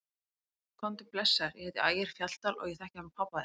Komdu blessaður, ég heiti Ægir Fjalldal og ég þekki hann pabba þinn!